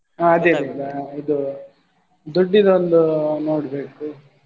ಹಾ ಇದು ದುಡ್ಡಿದ್ದು ಒಂದು ನೋಡ್ಬೇಕು.